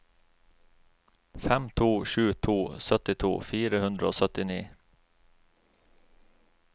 fem to sju to syttito fire hundre og syttini